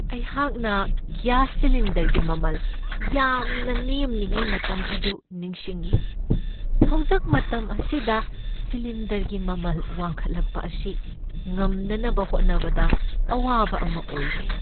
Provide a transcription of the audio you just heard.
ꯑꯩꯍꯥꯛꯅ ꯒ꯭ꯌꯥꯁ ꯁꯤꯂꯤꯟꯗꯔꯒꯤ ꯃꯃꯜ ꯌꯥꯝꯅ ꯅꯦꯝꯂꯤꯉꯩ ꯃꯇꯝ ꯑꯗꯨ ꯅꯤꯡꯁꯤꯡꯢ ꯫ ꯍꯧꯖꯤꯛ ꯃꯇꯝ ꯑꯁꯤꯗ ꯁꯤꯂꯤꯟꯗꯔꯒꯤ ꯃꯃꯜ ꯋꯥꯡꯈꯠꯂꯛꯄ ꯑꯁꯤ ꯉꯝꯅꯅꯕ ꯍꯣꯠꯅꯕꯗ ꯑꯋꯥꯕ ꯑꯃ ꯑꯣꯏꯔꯦ ꯫